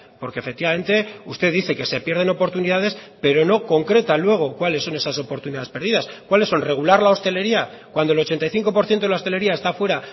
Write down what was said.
porque efectivamente usted dice que se pierden oportunidades pero no concreta luego cuáles son esas oportunidades perdidas cuáles son regular la hostelería cuando el ochenta y cinco por ciento de la hostelería está fuera